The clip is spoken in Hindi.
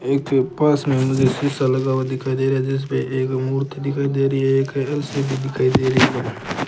एक पास में मुझे शीशा लगा हुआ दिखाई दे रहा है जिसपे एक मूर्ति दिखाई दे रही है एक एल_सी_डी दिखाई दे रही है।